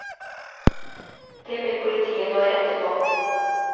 Det vil politiet nå rette på.